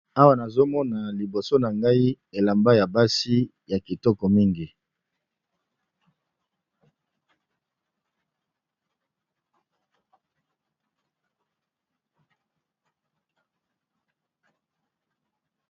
awa nazomona liboso na ngai elamba ya basi ya kitoko mingi